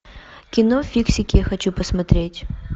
кино фиксики хочу посмотреть